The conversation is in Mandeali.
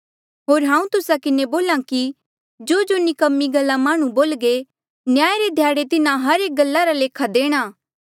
होर हांऊँ तुस्सा किन्हें बोल्हा कि जोजो निकम्मी गल्ला माह्णुं बोल्घे न्याय रे ध्याड़े तिन्हा हर एक गल्ला रा लेखा देणा